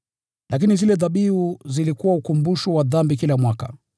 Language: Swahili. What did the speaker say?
Lakini zile dhabihu zilikuwa ukumbusho wa dhambi kila mwaka,